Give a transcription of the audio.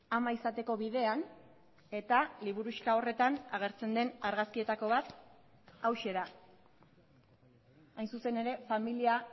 ama izateko bidean eta liburuxka horretan agertzen den argazkietako bat hauxe da hain zuzen ere familia